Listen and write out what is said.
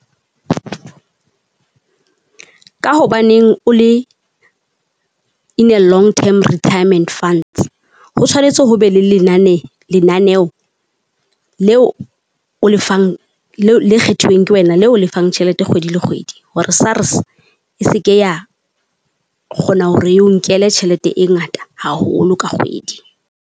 Ka hobaneng o le in a long term retirement funds? Ho tshwanetse ho be le lenane lenaneo leo o lefang leo le kgethuweng ke wena le o lefang tjhelete kgwedi le kgwedi. Hore SARS e se ke ya kgona hore e o nkele tjhelete e ngata haholo ka kgwedi.